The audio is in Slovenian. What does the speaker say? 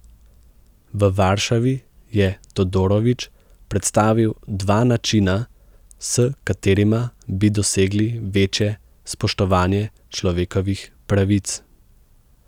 V Varšavi je Todorović predstavil dva načina, s katerima bi dosegli večje spoštovanje človekovih pravic.